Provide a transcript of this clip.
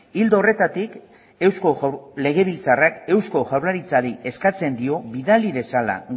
ildo horretatik eusko legebiltzarrak eusko jaurlaritzari eskatzen dio bidali dezala